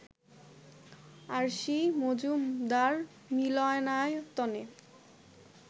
RC Majumdar মিলনায়তনে